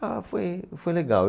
Ah, foi, foi legal.